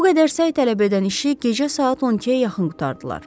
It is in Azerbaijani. Bu qədər səy tələb edən işi gecə saat 12-yə yaxın qurtardılar.